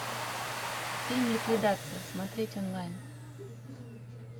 фильм ликвидация смотреть онлайн